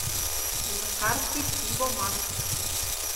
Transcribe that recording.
на карте пивоман